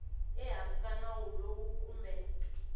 ehansi ka nawu lowu kumbe